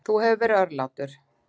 Þú hefur verið örlátur.